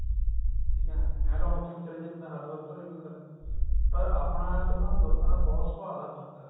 ਠੀਕ ਏ ਐਂ ਤਾਂ ਹੁਣ ਉੱਥੇ ਵੀ ਚਲੇ ਜਾਏ ਬੰਦਾ ਹਰਿਦਵਾਰ ਉੱਤਰ ਜਾਵੇ ਪਰ ਆਪਣਾ ਤੇ ਉਹਨਾ ਲੋਕਾਂ ਦਾ ਬਹੁਤ ਸੁਭਾਅ ਦਾ ਫਰਕ ਹੈ